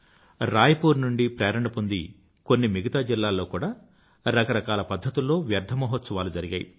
Roy poor నుండి ప్రేరణ పొంది కొన్ని మిగతా జిల్లాల్లో కూడా రకరకాల పధ్ధతుల్లో వ్యర్థ మహోత్సవాలు జరిగాయి